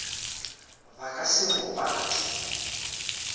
ba ka se bo pate